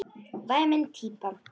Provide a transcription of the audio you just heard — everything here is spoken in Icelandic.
Væmin típa.